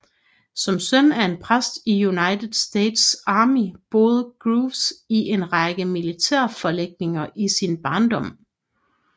Som søn af en præst i United States Army boede Groves i en række militærforlægninger i sin barndom